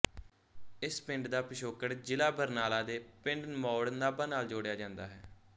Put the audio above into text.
ਇਸ ਪਿੰਡ ਦਾ ਪਿਛੋਕੜ ਜ਼ਿਲ੍ਹਾ ਬਰਨਾਲਾ ਦੇ ਪਿੰਡ ਮੌੜ ਨਾਭਾ ਨਾਲ ਜੋੜਿਆ ਜਾਂਦਾ ਹੈ